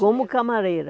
Como camareira.